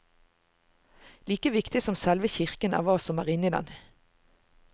Like viktig som selve kirken er hva som er inni den.